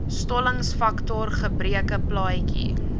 stollingsfaktor gebreke plaatjie